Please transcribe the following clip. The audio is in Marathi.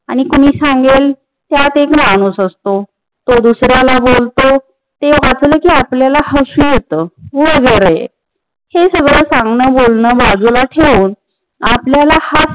आणि कुणी सांगेल त्यात एक माणूस असतो त्यो दुसर्याला बोलतो ते हसल कि आपल्याला हसू येत वगेरे हे सगळ सांगण बोलन बाजूला ठेवून आपल्याला हा